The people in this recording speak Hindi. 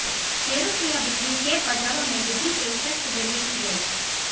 शेयरों की यह बिक्री शेयर बाजारों में बिक्री पेशकश के जरिए की जाएगी